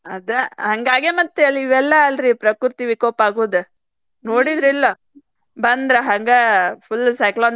ಆದ ಹಂಗಾಗೇ ಮತ್ತ್ ಇವೆಲ್ಲಾ ಅಲ್ರಿ ಪ್ರಕೃತಿ ವಿಕೋಪಾಗುದ ನೊಡಿದ್ರಿಲ್ಲೋ ಬಂದ್ರ್ ಹಂಗ full cyclone